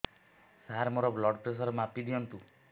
ସାର ମୋର blood pressure ମାପି ଦିଅନ୍ତୁ